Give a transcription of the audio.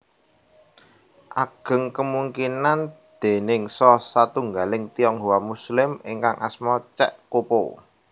Ageng kemungkinan déningsa satunggaling Tionghoa Muslim ingkang asma Cek Ko po